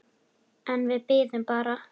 En við biðum bara.